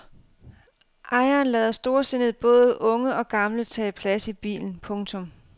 Ejeren lader storsindet både unge og gamle tage plads i bilen. punktum